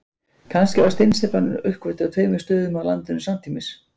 Kannski var steinsteypan uppgötvuð á tveimur stöðum á landinu samtímis.